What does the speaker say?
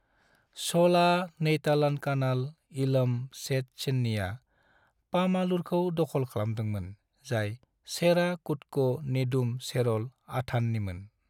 चोला नेयतलंकनल इलम सेट चेन्नीआ पामालुरखौ दख'ल खालामदोंमोन, जाय चेरा कुदको नेदुम चेरल अथाननिमोन।